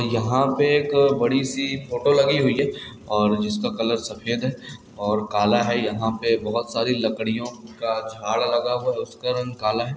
यहाँ पे एक बड़ी सी फोटो लगी हुई है और जिसका कलर सफेद है और काला है यहाँ पे बहुत सारी लकड़ियों का झाड़ लगा हुआ उसका रंग काला है।